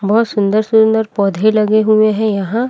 बहोत सुंन्दर सुंन्दर पौधे लगे हुआ है यहाँ।